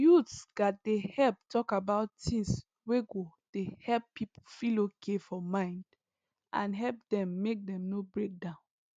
youths gats help talk about things wey go dey help people feel okay for mind and help them make dem no break down